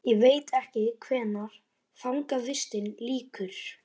Ég veit ekki hvenær fangavistinni lýkur.